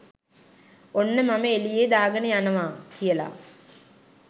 "ඔන්න මම එලියේ දාගන යනවා! " කියලා.